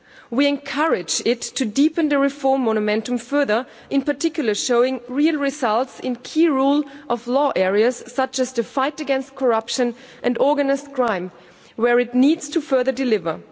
We encourage it to deepen the reform momentum further, in particular showing real results in key rule of law areas such as the fight against corruption and organised crime, where it needs to further deliver.